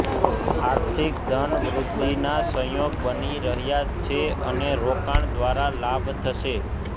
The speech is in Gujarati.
આર્થિક ધન વૃદ્ધિના સંયોગ બની રહ્યા છે અને રોકાણ દ્વારા લાભ થશે